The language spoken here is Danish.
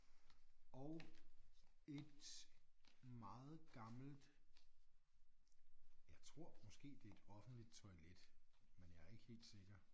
Og et meget gammelt jeg tror måske det et offentligt toilet men jeg er ikke helt sikker